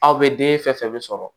Aw bɛ den fɛn fɛn sɔrɔ